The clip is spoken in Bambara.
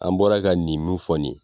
An bɔra ka nin mun fɔ nin ye